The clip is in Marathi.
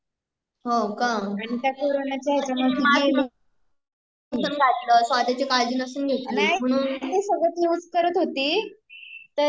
हो का. तिने मास्क नसेल घातलं स्वतःची काळजी नसेल घेतली